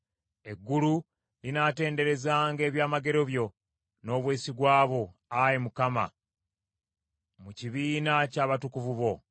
Eggulu linaatenderezanga ebyamagero byo n’obwesigwa bwo, Ayi Mukama , mu kibiina ky’abatukuvu bo.